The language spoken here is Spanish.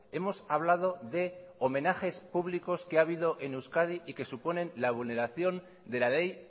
hemos hablado de homenajes públicos que ha habido en euskadi y que suponen la vulneración de la ley